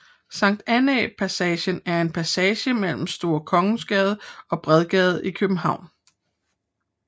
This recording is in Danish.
Sankt Annæ Passage er en passage mellem Store Kongensgade og Bredgade i København